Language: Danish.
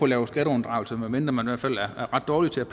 lave skatteunddragelse medmindre man i hvert fald er ret dårlig til at